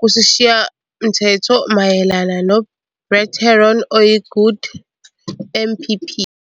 kusishayamthetho mayelana noBrett Herron, oyi-Good MPP.